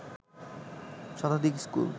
শতাধিক স্কুল